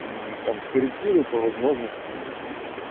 мм там скорректирую по возможности